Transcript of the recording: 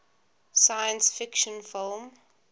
science fiction film